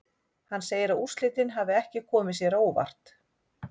Hann segir að úrslitin hafi ekki komið sér á óvart.